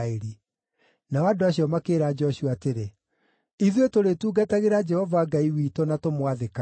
Nao andũ acio makĩĩra Joshua atĩrĩ, “Ithuĩ tũrĩtungatagĩra Jehova Ngai witũ na tũmwathĩkagĩre.”